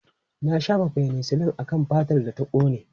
Na shafa fenisilin akan fatar da ta kone.